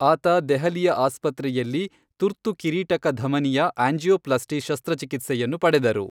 ಆತ ದೆಹಲಿಯ ಆಸ್ಪತ್ರೆಯಲ್ಲಿ ತುರ್ತು ಕಿರೀಟಕಧಮನಿಯ ಆಂಜಿಯೋಪ್ಲಾಸ್ಟಿ ಶಸ್ತ್ರಚಿಕಿತ್ಸೆಯನ್ನು ಪಡೆದರು.